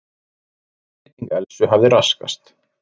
Einbeiting Elsu hafði raskast.